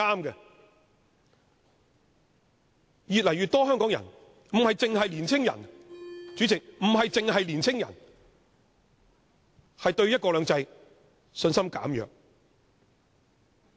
然而，越來越多香港人，不只年青人，對"一國兩制"的信心減弱。